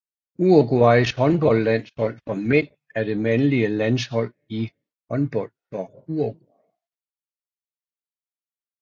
Uruguays håndboldlandshold for mænd er det mandlige landshold i håndbold for Uruguay